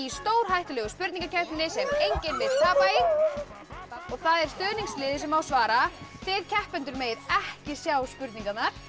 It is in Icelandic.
stórhættulegu spurningakeppninni sem enginn vill tapa í það er stuðningsliðið sem á að svara þið keppendur megið ekki sjá spurningarnar